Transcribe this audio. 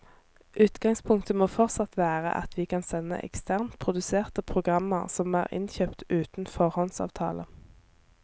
Utgangspunktet må fortsatt være at vi kan sende eksternt produserte programmer som er innkjøpt uten foråndsavtale.